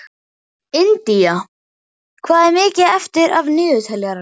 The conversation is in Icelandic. Indía, hvað er mikið eftir af niðurteljaranum?